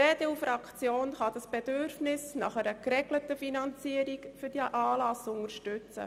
Die EDU-Fraktion kann das Bedürfnis nach einer geregelten Finanzierung dieses Anlasses unterstützen.